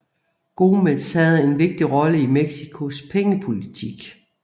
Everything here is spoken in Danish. Gómez havde en vigtig rolle i Mexicos pengepolitik